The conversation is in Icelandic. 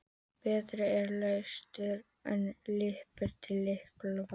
Betri er latur en lipur til illverka.